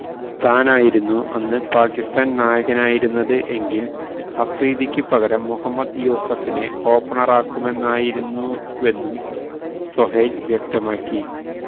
താനായിരുന്ന അന്ന് പാക്കിസ്ഥാന് നായകനായിരുന്നത് എങ്കില് അഫ്രീദിക്ക് പകരം മുഹമ്മദ് യൂസഫിനെ ഓപ്പണറാക്കുമായിരുന്നുവെന്നും സൊഹൈല് വ്യക്തമാക്കി